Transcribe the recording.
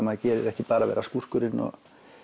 maður gerir ekki bara vera skúrkurinn og